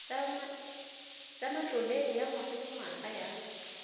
tsa matlole ya ngwagalengwaga ya